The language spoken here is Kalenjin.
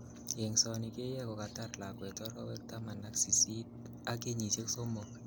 Eng'soni keyoe kokatar lakwet orowek taman ak sist ak kenyisiek somok.